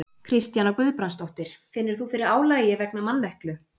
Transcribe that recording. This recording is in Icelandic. Kristjana Guðbrandsdóttir: Finnur þú fyrir álagi vegna manneklu?